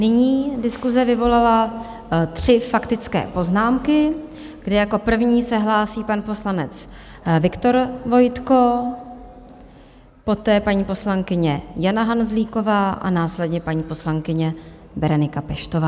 Nyní diskuse vyvolala tři faktické poznámky, kde jako první se hlásí pan poslanec Viktor Vojtko, poté paní poslankyně Jana Hanzlíková a následně paní poslankyně Berenika Peštová.